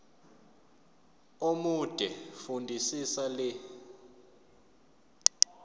omude fundisisa le